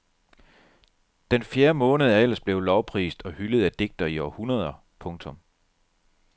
Den fjerde måned er ellers blevet lovprist og hyldet af digtere i århundreder. punktum